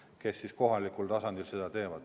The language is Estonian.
Nemad teevad seda kohalikul tasandil.